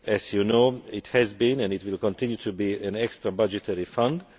As you know, it has been and it will continue to be an extra budgetary fund.